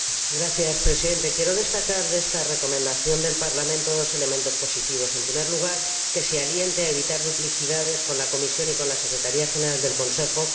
Señor Presidente, quiero destacar de esta Recomendación del Parlamento dos elementos positivos en primer lugar, que se anime a evitar duplicidades con la Comisión y con la Secretaría General del Consejo